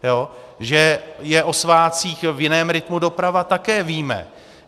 Že je o svátcích v jiném rytmu doprava, také víme.